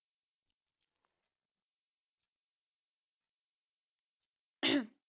ਅਮ